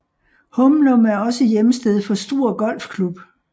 Humlum er også hjemsted for Struer Golfklub